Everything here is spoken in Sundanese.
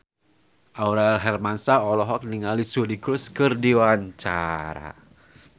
Aurel Hermansyah olohok ningali Suri Cruise keur diwawancara